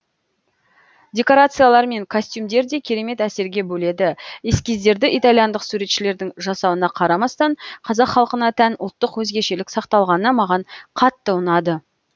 декорациялар мен костюмдер де керемет әсерге бөледі эскиздерді итальяндық суретшілердің жасауына қарамастан қазақ халқына тән ұлттық өзгешелік сақталғаны маған қатты ұнады